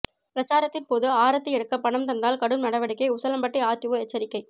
பிரசாரத்தின் போது ஆரத்தி எடுக்க பணம் தந்தால் கடும் நடவடிக்கை உசிலம்பட்டி ஆர்டிஓ எச்சரிக்கை